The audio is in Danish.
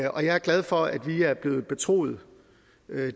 og jeg er glad for at vi er blevet betroet